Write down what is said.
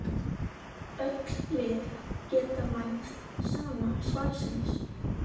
Öll lið geta vænst sama svarsins.